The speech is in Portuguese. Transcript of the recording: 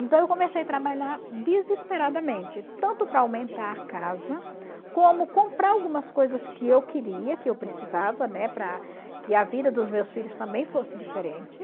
Então eu comecei a trabalhar desesperadamente, tanto para aumentar a casa, como comprar algumas coisas que eu queria, que eu precisava, né, para que a vida dos meus filhos também fosse diferente.